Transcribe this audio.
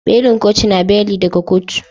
Belin kotu na beli daga kotu.